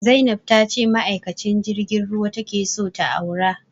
Zainab ta ce ma'aikacin jirgin ruwa ta ke so ta aura